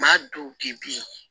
Maa dɔw bi bi